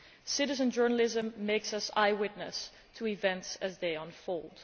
Citizen journalism makes us eye witnesses to events as they unfold.